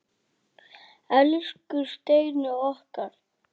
Elsku Steini okkar.